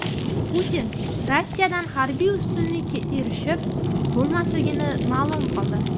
Putin Rossiyadan harbiy ustunlikka erishib bo‘lmasligini ma’lum qildi.